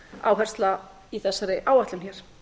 áhersla í þessari áætlun hér